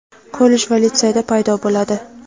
kollej va litseyda paydo bo‘ladi.